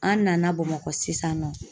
An nana Bamakɔ sisan nɔ